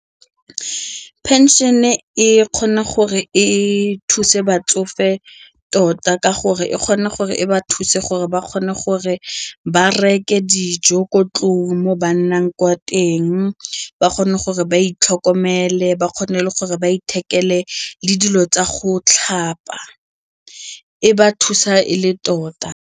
Pension-e e kgona gore e thuse batsofe tota ka gore e kgona gore e ba thuse gore ba kgone gore ba reke dijo ko ntlong mo ba nnang ko teng, ba kgone gore ba itlhokomele, ba kgone gore ba ithekele le dilo tsa go tlhapa, e ba thusa e le tota.